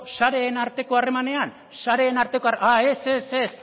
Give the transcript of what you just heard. sareen arteko harremanean ah ez ez